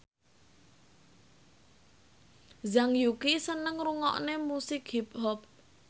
Zhang Yuqi seneng ngrungokne musik hip hop